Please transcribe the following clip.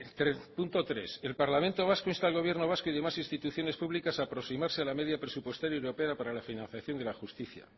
punto tres el parlamento vasco insta al gobierno vasco y demás instituciones públicas a aproximarse a la media presupuestaria europea para la financiación de la justicia